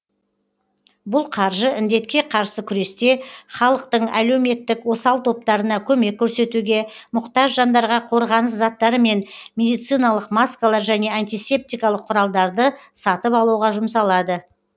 бұл қаржы індетке қарсы күресте халықтың әлеуметтік осал топтарына көмек көрсетуге мұқтаж жандарға қорғаныс заттары мен медициналық маскалар және антисептикалық құралдарды сатып алуға жұмсалады